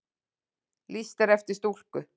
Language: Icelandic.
Lýst eftir stúlku